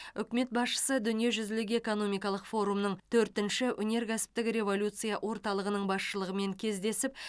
үкімет басшысы дүниежүзілік экономикалық форумның төртінші өнеркәсіптік революция орталығының басшылығымен кездесіп